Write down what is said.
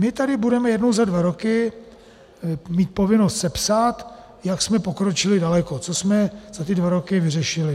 My tady budeme jednou za dva roky mít povinnost sepsat, jak jsme pokročili daleko, co jsme za ty dva roky vyřešili.